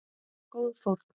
Góð fórn.